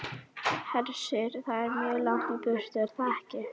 Hersir: Það er mjög langt í burtu, er það ekki?